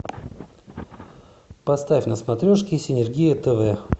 поставь на смотрешке синергия тв